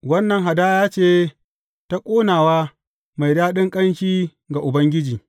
Wannan hadaya ce ta ƙonawa mai daɗin ƙanshi ga Ubangiji.